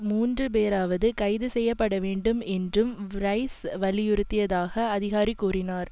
மூன்று பேராவது கைது செய்ய பட வேண்டும் என்றும் ரைஸ் வலியுறுத்தியதாக அதிகாரி கூறினார்